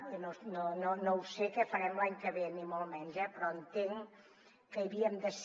i no ho sé què farem l’any que ve ni molt menys eh però entenc que hi havíem de ser